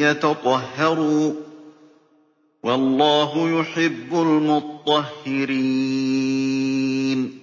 يَتَطَهَّرُوا ۚ وَاللَّهُ يُحِبُّ الْمُطَّهِّرِينَ